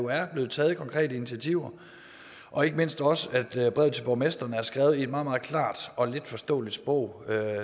er blevet taget konkrete initiativer og ikke mindst også at brevet til borgmestrene er skrevet i et meget meget klart og letforståeligt sprog